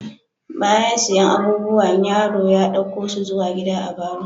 Bayan siyan abubuwan, yaron ya dauke su zuwa gida a'barro.